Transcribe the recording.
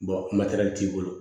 t'i bolo